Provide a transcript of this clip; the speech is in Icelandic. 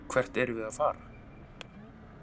Hvert erum við að fara?